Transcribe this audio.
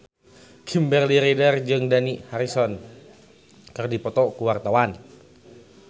Kimberly Ryder jeung Dani Harrison keur dipoto ku wartawan